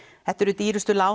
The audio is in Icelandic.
þetta eru dýrustu lán